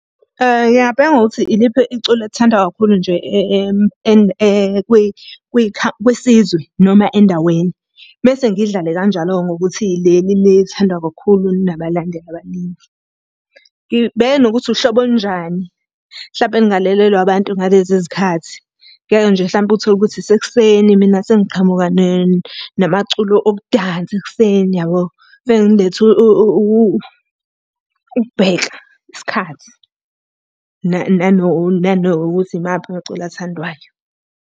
Ngingabheka ngokuthi iliphi iculo elithandwa kakhulu nje kwisizwe noma endaweni. Mese ngiyidlale kanjalo-ke ngokuthi leli lithandwa kakhulu linabalandeli abaningi. Ngibheke nokuthi uhlobo olunjani mhlampe olungalalelwa abantu ngalezi zikhathi. Ngeke nje mhlampe uthole ukuthi isekuseni mina sengiqhamuka namaculo okudansa ekuseni yabo. ukubheka isikhathi, nanokuthi imaphi amaculo athandwayo.